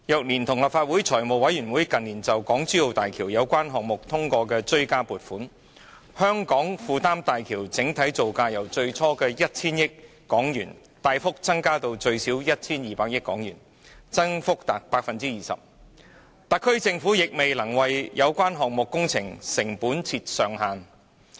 連同立法會財務委員會近年就港珠澳大橋相關項目通過的追加撥款，香港負擔大橋的整體造價由最初約 1,000 億港元大幅增加至最少 1,200 億港元，增幅達 20%， 特區政府卻未能為有關工程的成本定出上限。